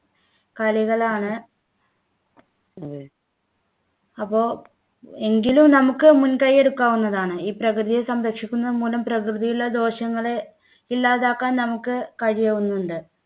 കളികളാണ് അപ്പോൾ എങ്കിലും നമുക്ക് മുൻകൈ എടുക്കാവുന്നതാണ് ഈ പ്രകൃതിയെ സംരക്ഷിക്കുന്നത് മൂലം പ്രകൃതിയിലെ ദോഷങ്ങളെ ഇല്ലാതാക്കാൻ നമുക്ക് കഴിയുന്നുണ്ട്